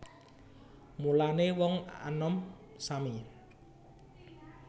Mulané wong anom sami